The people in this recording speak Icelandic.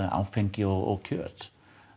áfengi og kjöt